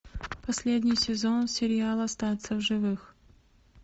последний сезон сериала остаться в живых